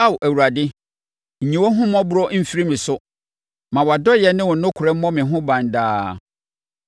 Ao Awurade, nyi wʼahummɔborɔ mfiri me so; ma wʼadɔeɛ ne wo nokorɛ mmɔ me ho ban daa.